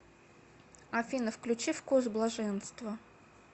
афина включи вкус блаженства